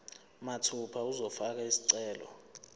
mathupha uzofaka isicelo